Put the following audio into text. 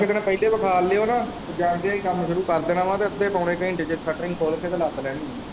ਪਹਿਲੇ ਵੇਖਾ ਲਿਓ ਨਾ ਤੇ ਜਾਂਦਿਆ ਹੀ ਕੰਮ ਸ਼ੁਰੂ ਕਰ ਦੇਣਾ ਵਾ ਤੇ ਅੱਧੇ-ਪੌਣੇ ਘੰਟੇ ਚ ਸਟਰਿੰਗ ਖੋਲ ਕੇ ਤੇ ਲੱਦ ਲੈਣੀ ਏ।